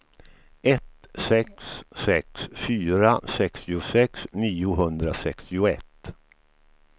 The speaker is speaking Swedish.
ett sex sex fyra sextiosex niohundrasextioett